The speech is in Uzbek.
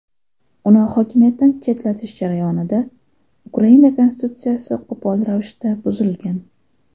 Uni hokimiyatdan chetlatish jarayonida Ukraina konstitutsiyasi qo‘pol ravishda buzilgan.